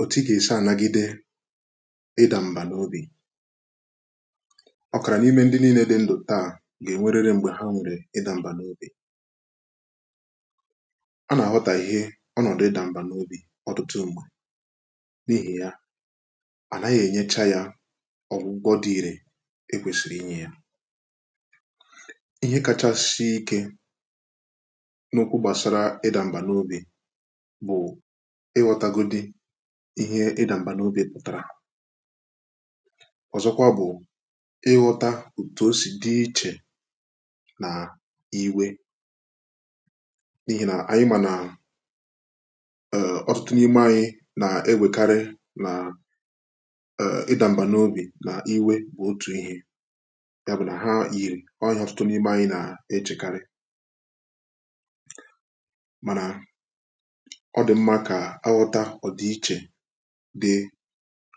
òtù ị ga-èsi ànagide ịdà m̀ba n’obi ọkàrà n’ime ndị niilė dị ndụ̀ taa gà-ènwerere m̀gbè ha nwèrè ịdà m̀ba n’obi a nà-àghọtà ihe ọnọ̀dụ ịdà m̀ba n’obi ọtụtụ mmà n’ihì ya à naghị ènyecha ya ọ̀gwụgwọ dị iri ekwèsìrì inye ya ihe kachasị ike n’okwu gbàsara ịdà m̀ba n’obi ihe ịdà mbà n’obi e kpàtàrà ọ̀zọkwa bụ̀ ịghọta òtù o sì dị ichè nà iwė n’ihì nà ànyị mà nà ọtụtụ nà ime anyị nà-ewèkarị nà ịdà mbà n’obi nà iwė bụ̀ otù ihė ya bụ̀ nà ha ị̀ ọtụtụ nà ime anyị nà-echèkari mànà ọ dị̀ mmȧ kà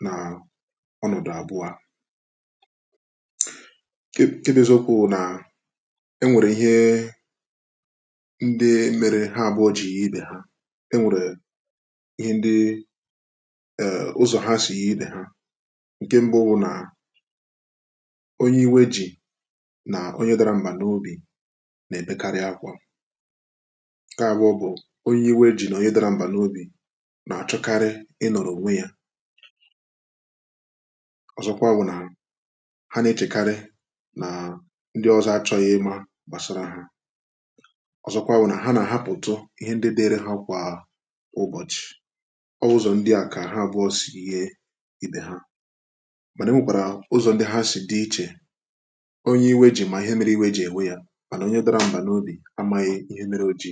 nà ọnọ̀dụ̀ abụọ kị bụ ezokwu bụ nà enwèrè ihe ndị mèrè ha àbụọ jì ya ibè ha enwèrè ihe ndị ee ụzọ̀ ha si idè ha ǹke mbụ bụ nà onye iwe ji nà onye dara mbà n’obi nà-èbekarị akwà ǹkẹ̀ àgbọ bụ̀ onye iwe ji nà onye dara mbà n’obi ọzọkwa bụ̀ nà ha na-echekarị nà ndị ọzọ achọghị ịma gbàsara ha ọzọkwa bụ̀ nà ha nà-ahapụ̀tu ihe ndị dịere ha kwà ụbọ̀chị̀ ọwụzọ̀ ndị à kà ha àbụọ sì ye ibè ha mànà o nwèkwàrà ụzọ̀ ndị ha sì dị ichè onye iwe jì mà ihe mere iwe jì ènwe yȧ mànà onye dọrọ mbà n’obi amaghị ihe mere oji